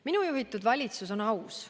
Minu juhitud valitsus on aus.